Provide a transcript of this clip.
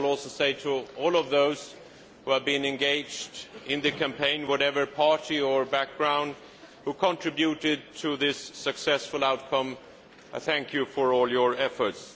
I also say to all of those who have been engaged in the campaign, whatever their party or background, who contributed to this successful outcome thank you for all your efforts.